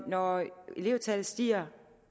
når elevtallet stiger